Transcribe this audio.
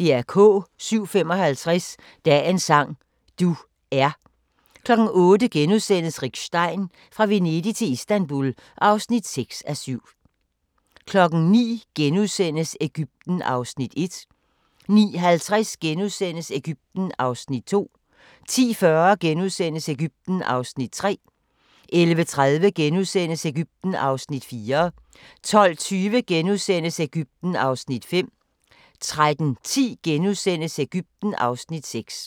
07:55: Dagens sang: Du er 08:00: Rick Stein: Fra Venedig til Istanbul (6:7)* 09:00: Egypten (Afs. 1)* 09:50: Egypten (Afs. 2)* 10:40: Egypten (Afs. 3)* 11:30: Egypten (Afs. 4)* 12:20: Egypten (Afs. 5)* 13:10: Egypten (Afs. 6)*